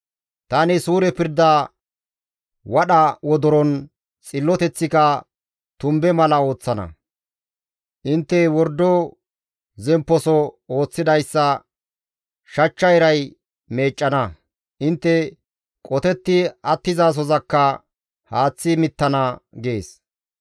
Tani suure pirda wadha wodoro, xilloteththika tumbe mala ooththana; intte wordo zempposo ooththidayssa shachcha iray meeccana; intte qotetti attizasozakka haaththi mittana» gees.